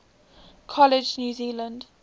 college new zealand